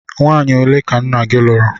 Nwanyi ole ka nna gi lụrụ?